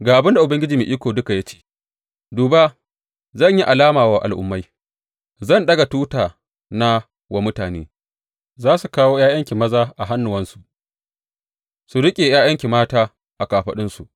Ga abin da Ubangiji Mai Iko Duka ya ce, Duba, zan yi alama wa Al’ummai, zan ɗaga tutana wa mutane; za su kawo ’ya’yanki maza a hannuwansu su riƙe ’ya’yanki mata a kafaɗunsu.